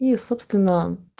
и собственно